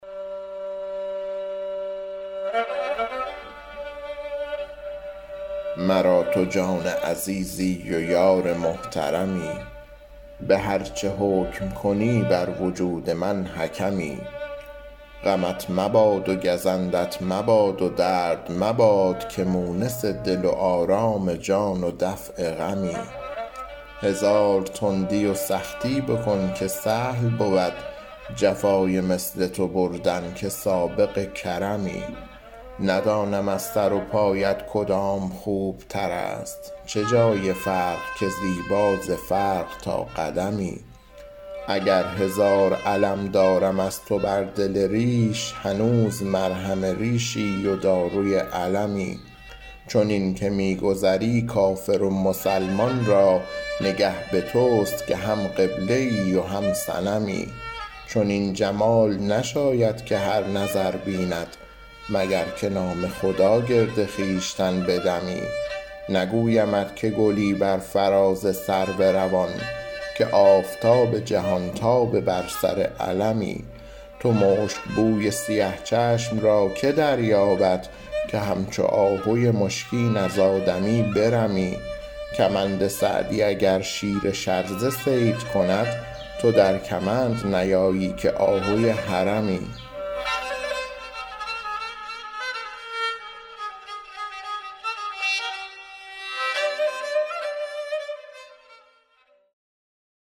مرا تو جان عزیزی و یار محترمی به هر چه حکم کنی بر وجود من حکمی غمت مباد و گزندت مباد و درد مباد که مونس دل و آرام جان و دفع غمی هزار تندی و سختی بکن که سهل بود جفای مثل تو بردن که سابق کرمی ندانم از سر و پایت کدام خوبتر است چه جای فرق که زیبا ز فرق تا قدمی اگر هزار الم دارم از تو بر دل ریش هنوز مرهم ریشی و داروی المی چنین که می گذری کافر و مسلمان را نگه به توست که هم قبله ای و هم صنمی چنین جمال نشاید که هر نظر بیند مگر که نام خدا گرد خویشتن بدمی نگویمت که گلی بر فراز سرو روان که آفتاب جهانتاب بر سر علمی تو مشکبوی سیه چشم را که دریابد که همچو آهوی مشکین از آدمی برمی کمند سعدی اگر شیر شرزه صید کند تو در کمند نیایی که آهوی حرمی